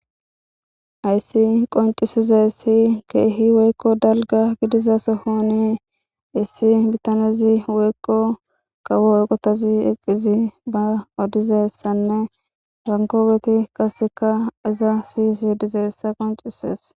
Haysi qoncisizayissi keehi woykko dalga gidiza sohoni issi bitanezi woykko kawo oqotozi eqqizi ba odizessanne bankoobeti kaseka izasiisi dizayissa qoncisees